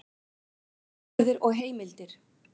Ritgerðir og heimildir.